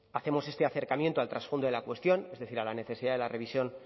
hacemos este acercamiento al trasfondo de la cuestión es decir a la necesidad de la revisión